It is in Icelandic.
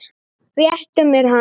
Réttu mér hana